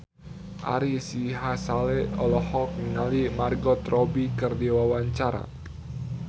Ari Sihasale olohok ningali Margot Robbie keur diwawancara